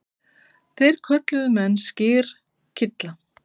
Það kölluðu menn skyrkylla.